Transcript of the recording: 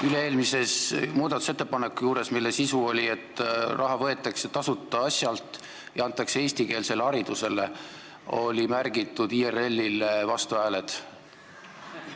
Üle-eelmise muudatusettepaneku juurde, mille sisu oli, et raha võetakse tasuta asjalt ja antakse eestikeelsele haridusele, olid märgitud IRL-i vastuhääled.